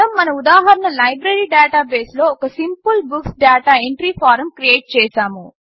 మనం మన ఉదాహరణ లైబ్రరి డాటాబేస్లో ఒక simple books data entry form create చేసాము